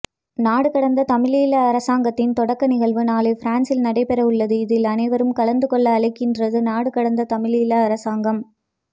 நாடுகடந்த தமிழீழ அரசாங்கத்தின் தொடக்க நிகழ்வு நாளை பிரான்ஸிஸ் நடைபெறவுள்ளது இதில் அனைவரும் கலந்துகொள்ள அழைக்கின்றது நாடுகடந்த தமிழீழ அரசாங்கம்